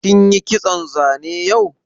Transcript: Kin yi kitson zane yau?